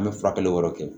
An bɛ furakɛli wɛrɛ kɛ